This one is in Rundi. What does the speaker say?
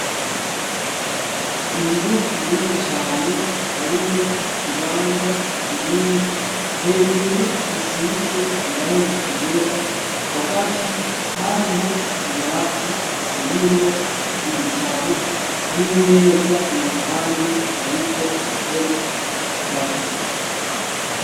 inzu nini cane harimwo ikibanza kinini hejuru gisize irangi ryera hagati hariho tubati turimwo ibitabu n'imeza iruhande yariko intebe zitatu